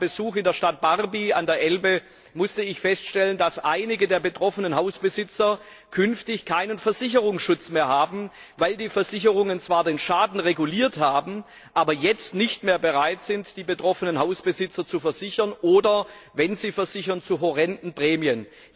Bei meinem Besuch in der Stadt Barby an der Elbe musste ich feststellen, dass einige der betroffenen Hausbesitzer künftig keinen Versicherungsschutz mehr haben, weil die Versicherungen zwar den Schaden reguliert haben, aber jetzt nicht mehr bereit sind, die betroffenen Hausbesitzer zu versichern oder, wenn sie versichern, dann zu horrenden Prämien.